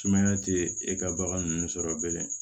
Sumaya tɛ e ka bagan ninnu sɔrɔ bilen